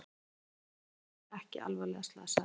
Vélsleðamaður ekki alvarlega slasaður